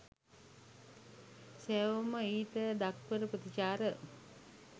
සැවොම ඊට දක්වන ප්‍රතිචාර